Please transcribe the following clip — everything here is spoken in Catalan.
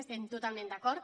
hi estem totalment d’acord